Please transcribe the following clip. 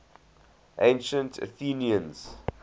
ancient athenians